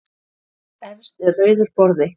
Efst er rauður borði.